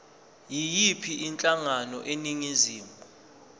yiyiphi inhlangano eningizimu